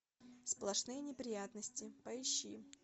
сплошные неприятности поищи